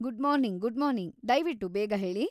Good morning, good morning; ದಯ್ವಿಟ್ಟು ಬೇಗ ಹೇಳಿ.